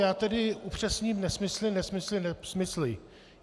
Já tedy upřesním nesmysly, nesmysly, nesmysly.